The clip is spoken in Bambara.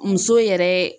Muso yɛrɛ